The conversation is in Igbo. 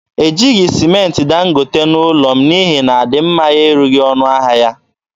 Ejighị sịmentị Dangote n’ụlọ m n’ihi na adịmma ya erughị ọnụ ahịa ya.